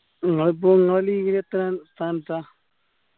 നിങ്ങളിപ്പോ നിങ്ങള് league ല് എത്രാം സ്ഥാനത്താ